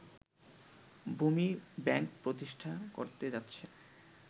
ভূমি ব্যাংক প্রতিষ্ঠা করতে যাচ্ছে